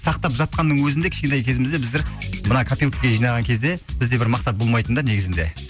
сақтап жатқанның өзінде кішкентай кезімізде біздер мына копилкаға жинаған кезде бізде бір мақсат болмайтын да негізінде